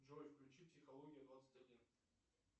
джой включи психология двадцать один